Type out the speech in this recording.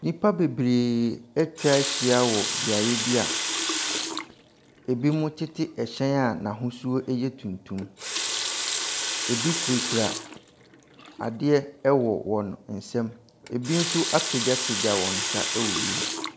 Nnipa bebree atwa ahyia wɔ beaeɛ bi a ebinom tete hyɛn a n'ahosuo yɛ tuntum. Ebi kurakura adeɛ wɔ wɔn nsam. Ebi nso apagyapagya wɔn nsa wɔ wiem.